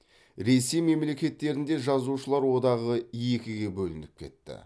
ресей мемлекеттерінде жазушылар одағы екіге бөлініп кетті